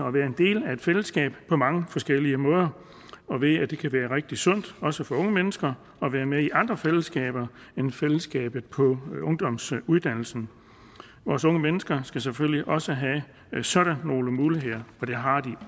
at være en del af et fællesskab på mange forskellige måder og ved at det kan være rigtig sundt også for unge mennesker at være med i andre fællesskaber end fællesskabet på ungdomsuddannelsen vores unge mennesker skal selvfølgelig også have sådan nogle muligheder og det har de